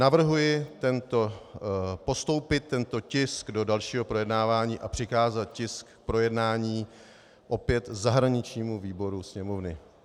Navrhuji postoupit tento tisk do dalšího projednávání a přikázat tisk k projednání opět zahraničnímu výboru Sněmovny.